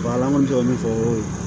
an kɔni bɛ min fɔ ko